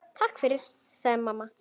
Takk fyrir, sagði mamma.